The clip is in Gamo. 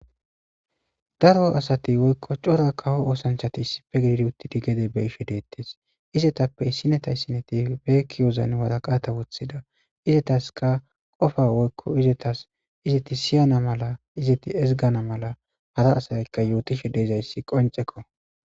Daro asati woykko cora kawo oosanchati issife gididi uttidi gede be7ishe deettes. Izetappe issinati issinati be kiyozan waraqata wothida izetaska qofa woykko izetas izeti siyana mala izeti ezggana mala hara asaykka yootishe deezayssi qoncceko.